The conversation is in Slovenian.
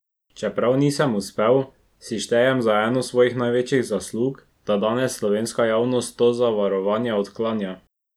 Čeprav nisem uspel, si štejem za eno svojih največjih zaslug, da danes slovenska javnost to zavarovanje odklanja.